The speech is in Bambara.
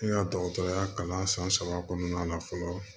N ka dɔgɔtɔrɔya kalan san saba kɔnɔna na fɔlɔ